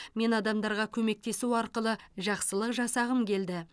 мен адамдарға көмектесу арқылы жақсылық жасағым келді